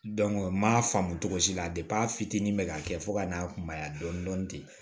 n m'a faamu cogo si la a fitinin bɛ ka kɛ fo ka n'a kunbaya dɔɔnin dɔɔnin ten